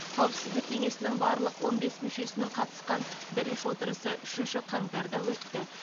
қауіпсіздік кеңесінің барлық он бес мүшесінің қатысқан бірінші отырысы үшінші қаңтарда өтті